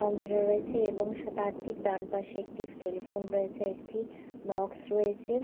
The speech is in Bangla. কম্পিউটার রয়েছে এবং সে তার ঠিক ডান পাশে একটি টেলিফোন রয়েছে একটি বক্স রয়েছে।